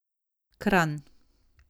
Kranj.